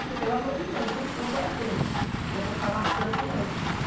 Falei, pelo amor de Deus, não sou boiadeira, né para ficar laçando criança.